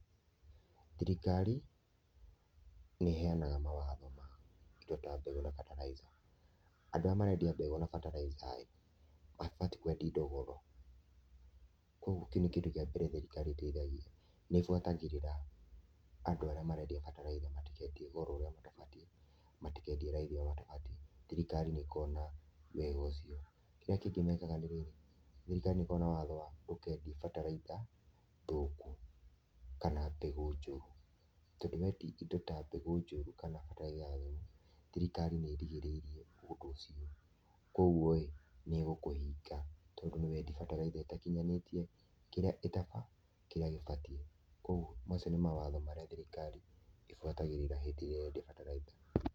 Thirikari nĩ ĩheanaga mawatho ma kwendia mbegũ na bataraica. Andũ arĩa marendia mbegũ na bataraica rĩ, matibatiĩ kwendia indo goro, ũguo kĩu nĩkĩndũ kĩambere thirikari ĩtaithagia. Nĩ ĩbuatagĩrĩra andũ arĩa marendia bataraitha matikendie goro ũrĩa matabatiĩ na matikendie raithi ũrĩa matabatiĩ. Thirikari nĩ ĩkoragwo na wĩra ũcio. Kĩrĩa kĩngĩ mekaga nĩ rĩrĩ, thirikari nĩ ĩkoragwo na watho wa gũkĩendio bataraitha thũku kana mbegũ njũru, tondũwendia indo ta mbegũ njũru kana bataraitha thũku, thirikari nĩ ĩrigĩrĩirie ũndũ ũcio. Kogu ĩ, nĩmegũkũhinga tondũ nĩwendia bataraitha ĩtakinyanĩtie kĩrĩa gĩbatiĩ, koguo macio nĩ mawatho marĩa thirikari ĩbuatagĩrĩra hĩndĩ ĩrĩa ũrendia bataraitha.